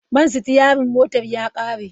Man sitiyarin motar ya kare.